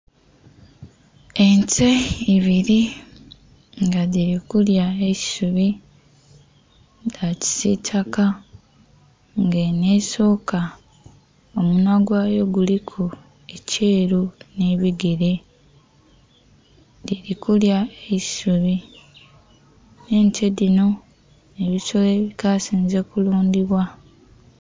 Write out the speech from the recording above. Ente ibiri nga dhili kulya eisubi dha kisitaka. Nga enho esoka omunhwa gwa yo kuliku ekyeru nhi ku bigere, dhili kulya eisubi era ente dhino nhe'bisolo ebikasinze okulundhibwa.